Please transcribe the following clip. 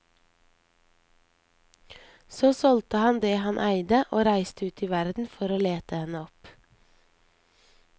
Så solgte han det han eide, og reiste ut i verden for å lete henne opp.